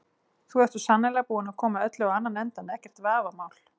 Þú ert svo sannarlega búinn að koma öllu á annan endann, ekkert vafamál.